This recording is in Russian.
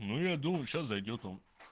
ну я думаю сейчас зайдёт он